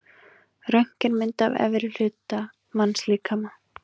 Röntgenmynd af efri hluta mannslíkama.